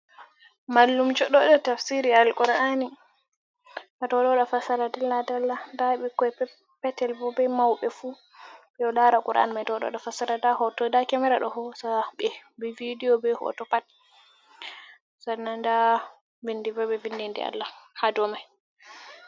Mallumjo ɗo waɗa tafsiri Al-Qur’ani. Wato o ɗo fassara dalla-dalla, nda ɓikkoi peppetel be maubɓe fuu ɓe ɗo lara Qur'an mai to o ɗo waɗa fasara, nda hoto nda kemera ɗo hosaɓe be videyo be hoto pat, sannan nda vindi bo ɓe vindi inde Allah haa domai.